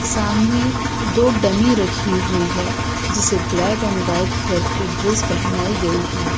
सामने दो डमी रखी हुई है जिसे ब्लैक एंड व्हाइट कलर की ड्रेस पहनाई गई है।